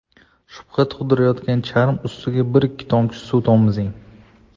Shubha tug‘dirayotgan charm ustiga bir-ikki tomchi suv tomizing.